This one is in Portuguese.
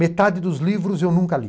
Metade dos livros eu nunca li.